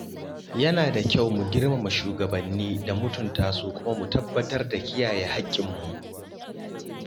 Yana da kyau mu girmama shugabanni da mutuntasu kuma mu tabbatar da kiyaye haƙƙinmu.